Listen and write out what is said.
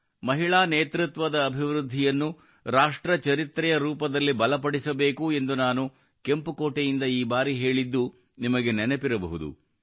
ಮಹಿಳಾ ನೇತೃತ್ವದ ಅಭಿವೃದ್ಧಿಯನ್ನು ರಾಷ್ಟ್ರ ಚರಿತ್ರೆಯ ರೂಪದಲ್ಲಿ ಬಲಪಡಿಸಬೇಕು ಎಂದು ನಾನು ಕೆಂಪು ಕೋಟೆಯಿಂದ ಈ ಬಾರಿ ಹೇಳಿದ್ದು ನಿಮಗೆ ನೆನಪಿರಬಹುದು